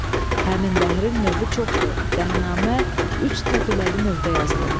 Həmin bəhrin növü çoxdur, Dəhnamə üç təfiləli növdə yazılıb.